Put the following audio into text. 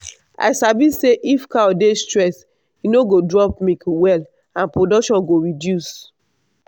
i sabi say if cow dey stress e no go drop milk well and production go reduce.